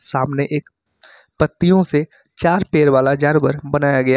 सामने एक पत्तियों से चार पैर वाला जानवर बनाया गया--